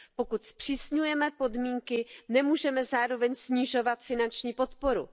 Pokud zpřísňujeme podmínky, nemůžeme zároveň snižovat finanční podporu.